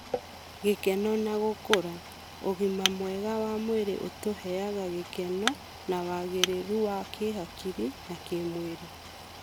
Gĩkeno na gũkũra: ũgima mwega wa mwĩrĩ ũtũheaga gĩkeno na wagĩrĩru wa kĩhakiri na kĩmwĩrĩ.